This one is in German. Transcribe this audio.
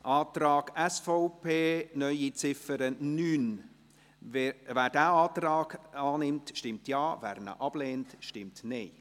Zum Antrag SVP auf eine neue Ziffer 9: Wer diesen Antrag annimmt, stimmt Ja, wer ihn ablehnt, stimmt Nein.